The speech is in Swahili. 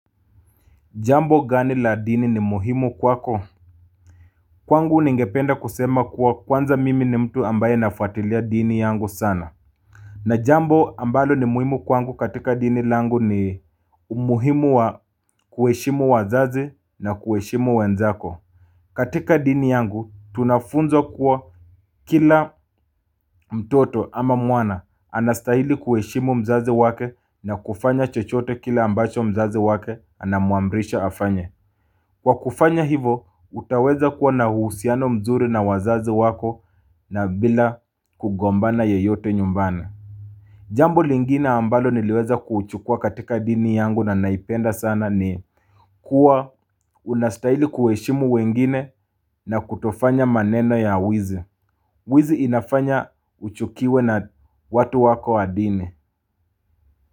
Jambo gani la dini ni muhimu kwako? Kwangu ningependa kusema kuwa kwanza mimi ni mtu ambaye nafuatilia dini yangu sana. Na jambo ambalo ni muhimu kwangu katika dini langu ni umuhimu wa kuheshimu wazazi na kuheshimu wenzako. Katika dini yangu tunafunzwa kuwa kila mtoto ama mwana anastahili kuheshimu mzazi wake na kufanya chochote kile ambacho mzazi wake anamuamrisha afanye. Kwa kufanya hivo, utaweza kuwa na uhusiano mzuri na wazazi wako na bila kugombana yeyote nyumbani. Jambo lingine ambalo niliweza kuchukua katika dini yangu na naipenda sana ni kuwa unastaili kueshimu wengine na kutofanya maneno ya wizi. Wizi inafanya uchukiwe na watu wako wa dini.